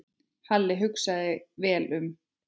Halli hugsaði sig vel um.